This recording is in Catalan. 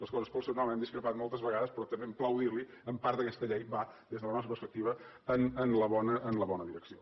les coses pel seu nom hem discrepat moltes vegades però també em plau dir li ho en part aquesta llei va des de la nostra perspectiva en la bona direcció